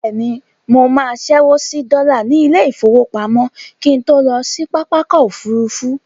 Bẹ́ẹ̀ni, mo máa ṣẹ́wó sí dọ́là ní ilé-ìfowópamọ́ kí n tó lọ sí pápákọ̀ òfurufú.